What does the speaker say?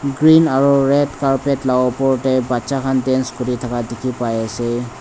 reen aru red carpet lah upor teh baccha khan dance kuri thaka dikhi pai ase.